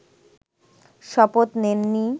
শপথ নেননি